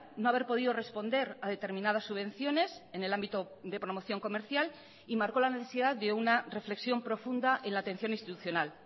no haber podido responder a determinadas subvenciones en el ámbito de promoción comercial y marcó la necesidad de una reflexión profunda en la atención institucional